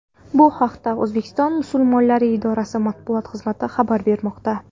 Bu haqda O‘zbekiston musulmonlari idorasi matbuot xizmati xabar bermoqda.